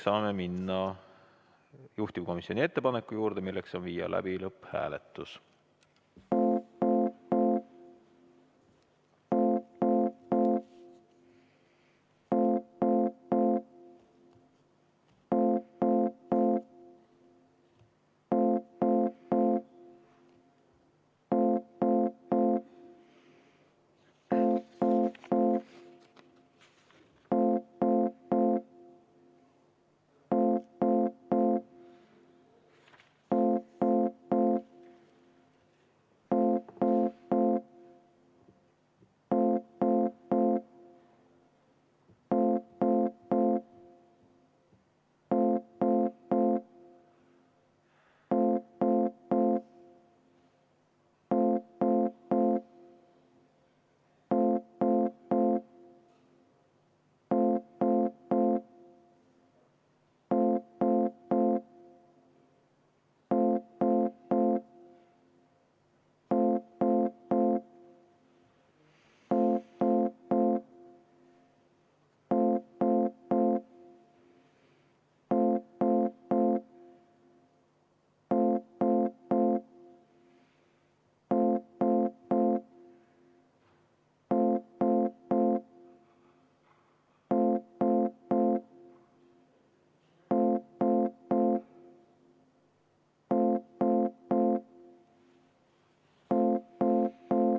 Saame minna juhtivkomisjoni ettepaneku juurde, nimelt tuleb meil teha lõpphääletus.